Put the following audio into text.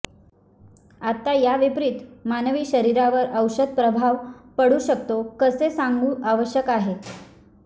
आता या विपरित मानवी शरीरावर औषध प्रभाव पडू शकतो कसे सांगू आवश्यक आहे